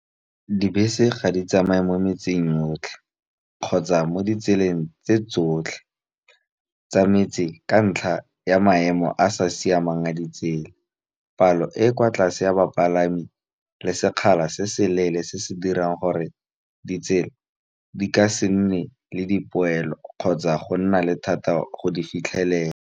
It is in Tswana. Dibese ga di tsamaye mo metseng yotlhe, kgotsa mo ditseleng tse tsotlhe, tsa metsi ka ntlha ya maemo a sa siamang a ditsela. Palo e e kwa tlase ya bapalami le sekgala, se se leele se se dirang gore ditsela di ka se nne le dipoelo, kgotsa go nna le thata go di fitlhelela.